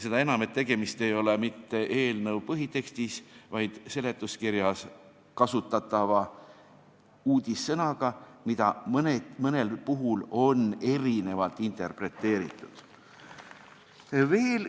Seda enam, et tegemist ei ole mitte eelnõu põhitekstis, vaid seletuskirjas kasutatava uudissõnaga, mida mõnel puhul on interpreteeritud erinevalt.